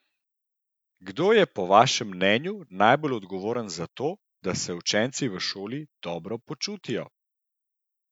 Kdo je po vašem mnenju najbolj odgovoren za to, da se učenci v šoli dobro počutijo?